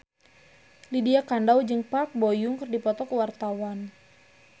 Lydia Kandou jeung Park Bo Yung keur dipoto ku wartawan